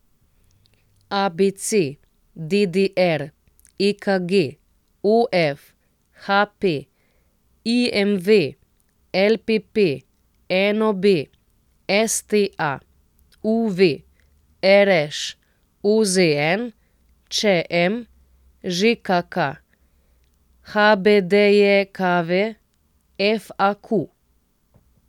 A B C; D D R; E K G; O F; H P; I M V; L P P; N O B; S T A; U V; R Š; O Z N; Č M; Ž K K; H B D J K V; F A Q.